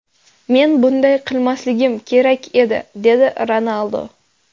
Men bunday qilmasligim kerak edi”, – dedi Ronaldu.